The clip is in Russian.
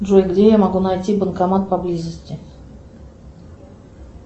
джой где я могу найти банкомат по близости